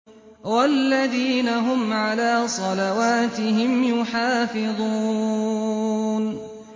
وَالَّذِينَ هُمْ عَلَىٰ صَلَوَاتِهِمْ يُحَافِظُونَ